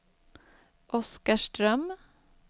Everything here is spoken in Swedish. Oskarström